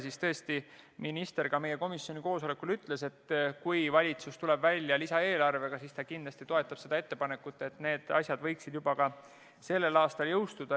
Minister ütles ka meie komisjoni koosolekul, et kui valitsus tuleb välja lisaeelarvega, siis ta kindlasti toetab ettepanekut, et need muudatused võiksid juba sellel aastal jõustuda.